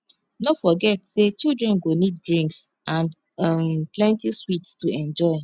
no forget say children go need drinks and um plenty sweets to enjoy